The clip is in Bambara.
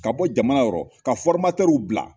Ka bɔ jamana yɔrɔ ka bila